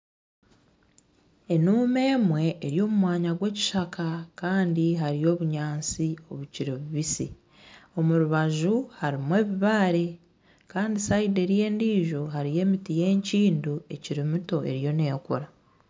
Enuuma emwe eri omu mwanya gw'eskishaka kandi hariyo obunyaasti obukiri bubisi omu rubaju harimu obubaare kandi sayidi eriya endiijo hariyo emiti y'enkindo ekiri mito eriyo neekura.